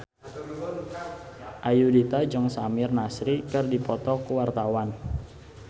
Ayudhita jeung Samir Nasri keur dipoto ku wartawan